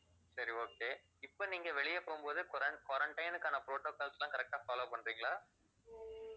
சரி okay இப்ப நீங்க வெளியில போகும்போது quaran~ quarantine க்கான protocols லாம் correct ஆ follow பண்றிங்களா